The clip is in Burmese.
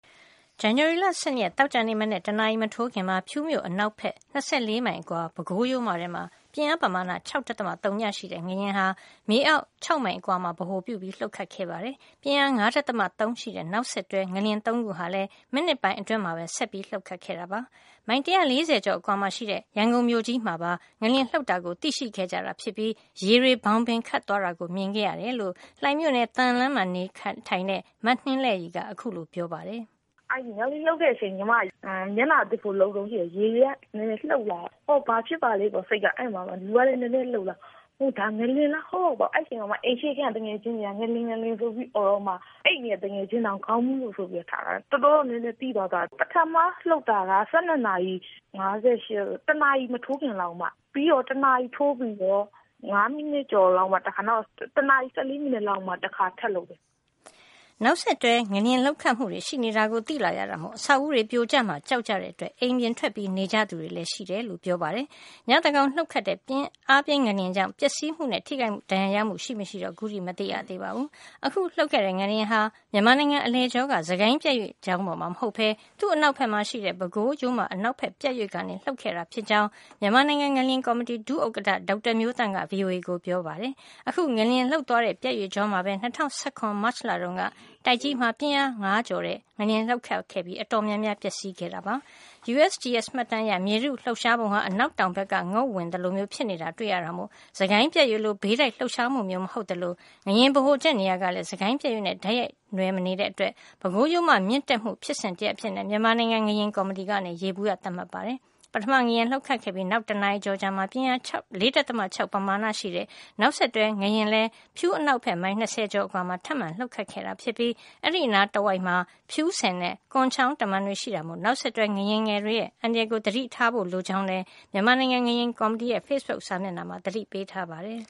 ဇန်နဝါရီလ ၁၂ ရက် သောကြာနေ့ မနက် တနာရီမထိုးခင်မှာ ဖြူးမြို့ အနောက်ဖက် ၃၉ ကီလိုမီတာ (၂၄ မိုင်) အကွာ ပဲခူးရိုးမထဲမှာ ပြင်းအားပမာဏ ၆.၀ ရှိတဲ့ ငလျင်ဟာ မြေအောက် ၁၀ ကီလိုမီတာ (၆ မိုင်) အကွာမှာ ဗဟိုပြု လှုပ်ခတ်ခဲ့ပါတယ်။ပြင်းအား ၅.၃ ရှိတဲ့ နောက်ဆက်တွဲ ငလျင် ၃ ခု ဟာ မိနစ်ပိုင်းအတွင်းမှာပဲ ဆက်လှုပ်ခဲ့တာပါ။ မိုင် ၁၄၀ ကျော် အကွာမှာ ရှိတဲ့ ရန်ကုန်မြို့ကြီးမှာပါ ငလျင်လှုပ်တာကို သိရှိခဲ့ကြတာ ဖြစ်ပြီး ရေတွေ ဘောင်ဘင်ခတ်သွားတာ မြင်ခဲ့ ရတယ်လို့ လှိုင်မြို့နယ် သံလမ်းမှာ နေထိုင်တဲ့ မနှင်းလဲ့ရည်က ခုလို ပြောပါတယ်။ " ငလျင်လှုပ်တဲ့အချိန် ညီမ မျက်နှာသစ်ဖို့ လုပ်တုန်းရှိသေးတယ် ရေတွေက လှုပ်လာတာပေါ့ လူကလည်း နည်းနည်းလှုပ်လာတယ် အော် ဘာဖြစ်ပါလိမ့်ပေါ့။ ငလျင်လားမသိဘူးဆိုတော့ အိမ်ရှေ့ခန်းက သူငယ်ချင်းတွေက ငလျင် ငလျင်ဆိုပြီး အော်တော့မှ အိပ်နေတဲ့သူငယ်ချင်းတောင် ခေါင်းမူးလို့ဆိုပြီး ထလာတာ တော်တော်ကို သိသာတယ်။ ပထမလှုပ်တာက ၁၂နာရီ ၅၈မိနစ် တစ်နာရီမထိုးခင်လောက်က အမ။ ပြီးတော့ တစ်နာရီထိုးပြီး ငါးမိနစ်ကျော်လောက်မှာ တခါ တစ်နာရီ ဆယ့်လေးမိနစ်လောက်မှာ တခါထပ်လှုပ်တယ်။" နောက်ဆက်တွဲ ငလျင်လှုပ်ခတ်မှု တွေရှိနေတာကို သိလာရတာမို့ အဆောက်အဦးတွေ ပြိုကျမှာ ကြောက်ကြတဲ့ အတွက် အိမ်ပြင်ထွက် နေကြသူတွေပါ ရှိတယ် လို့လည်းပြောပါတယ်။ ညသန်းခေါင် လှုပ်ခဲ့တဲ့ အားပြင်း ငလျင်ကြောင့် ပျက်စီးမှုနဲ့ ထိခိုက်ဒဏ်ရာရမှု ရှိမရှိတော့ မသိရသေးပါဘူး။ အခု လှုပ်ခဲ့တဲ့ ငလျင်ဟာ မြန်မာနိုင်ငံအလယ်ကြောက စစ်ကိုင်းပြတ်ရွေ့ကြောင်းပေါ်မှာ မဟုတ်ပဲ သူ့အနောက်ဖက်မှာရှိတဲ့ ပဲခူးရိုးမအနောက်ဖက် ပြတ်ရွေ့ကနေ လှုပ်ခဲ့တာဖြစ်ကြောင်း မြန်မာနိုင်ငံ ငလျင်ကော်မတီ ဒုဥက္ကဌ ဒေါက်တာမျိုးသန့်က VOA ကိုပြောပါတယ်။ အခု ငလျင်လှုပ်သွားတဲ့ ပြတ်ရွေ့ကြောမှာပဲ ၂၀၁၇ မတ်လတုန်းက တိုက်ကြီးမှာ ပြင်းအား ၅ ကျော်တဲ့ ငလျင်လှုပ်ခဲ့ပြီး အတော် များများပျက်စီး ခဲ့ရတာပါ။ USGS မှတ်တမ်းအရ မြေထုလှုပ်ရှားပုံဟာ အနောက်တောင်ဖက်က ငုတ်ဝင်သလိုမျိုး ဖြစ်နေတာ တွေ့ရတာမို့ စစ်ကိုင်း ပြတ်ရွေ့လို ဘေးတိုက်လှုပ်ရှားမှု မဟုတ်သလို ငလျင်ဗဟိုချက်နေရာ ကလည်း စစ်ကိုင်းပြတ်ရွေ့နှင့် တိုက်ရိုက်နွယ် မနေတဲ့အတွက် ပဲခူးရိုးမ မြင့်တက်မှု ဖြစ်စဉ်တရပ်အဖြစ် မြန်မာနိုင်ငံ ငလျင်ကော်မတီက ယေဘုယျသတ်မှတ် ထားပါတယ်။ ပထမငလျင်လှုပ်ခဲ့ပြီး နောက် တနာရီကျော် အကြာမှာ ပြင်းအား ၄.၆ ပမာဏ ရှိတဲ့ နောက်ဆက်တွဲ ငလျင်တခုလည်း ဖြူးအနောက်ဖက် မိုင် ၂၀ ကျော် အကွာမှာ ထပ်မံ လှုပ်ခတ်ခဲ့ တာ ဖြစ်ပြီး၊ အဲဒီအနီးအနားမှာ ဖြူးဆည်နဲ့ ကွန်းချောင်း တမံတွေ ရှိတာမို့ နောက်ဆက်တွဲ ငလျင်ငယ်တွေရဲ့ အန္တရာယ် ကို သတိထားဖို့ လိုကြောင်းလည်း မြန်မာနိုင်ငံ ငလျင်ကော်မတီရဲ့ ဖေ့ဘုတ်စာမျက်နှာမှာ သတိပေးထားပါတယ်